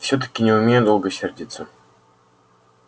всё-таки не умею долго сердиться